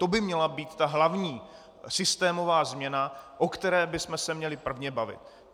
To by měla být ta hlavní systémová změna, o které bychom se měli prvně bavit.